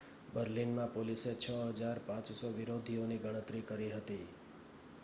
બર્લિનમાં પોલીસે 6,500 વિરોધીઓની ગણતરી કરી હતી